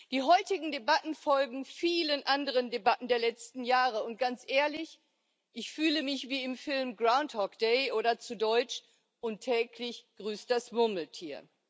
Die heutigen Debatten folgen vielen anderen Debatten der letzten Jahre, und ganz ehrlich, ich fühle mich wie im Film Groundhog Day oder zu Deutsch Und täglich grüßt das Murmeltier.